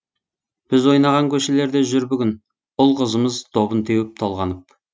біз ойнаған көшелерде жүр бүгін ұл қызымыз добын теуіп толғанып